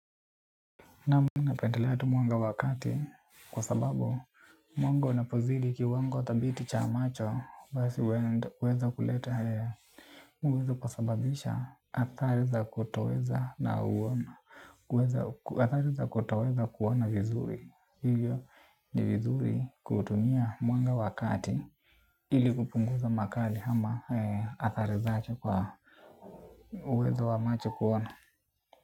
Naam! Mimi napendelea tu mwanga wa kati kwa sababu mwanga unapozidi kiwango thabiti cha macho basi uweza kuleta huweza kusababisha athari za kutoweza kuwa na uoni. Athari za kutoweza kuona vizuri. Hivyo ni vizuri kutumia mwanga wa kati ili kupunguza makali ama athari zake kwa uwezo wa macho kuona.